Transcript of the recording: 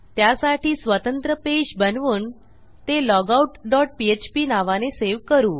त्यासाठी स्वतंत्र पेज बनवून ते लॉगआउट डॉट पीएचपी नावाने सेव्ह करू